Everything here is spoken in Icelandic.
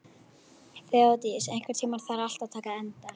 Þeódís, einhvern tímann þarf allt að taka enda.